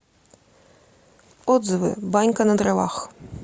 отзывы банька на дровах